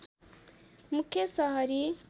मुख्य सहरी